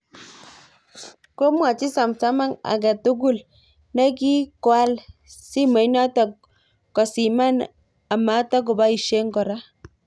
Komwaach Sumsung agetugul nekigaoal simenoto kosiman a matkoboisye kora